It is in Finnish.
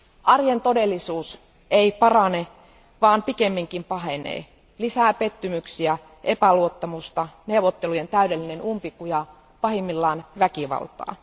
Arjen todellisuus ei parane, vaan pikemminkin pahenee lisää pettymyksiä, epäluottamusta, neuvottelujen täydellinen umpikuja, pahimmillaan väkivaltaa.